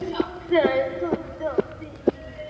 Það er tómt án þín.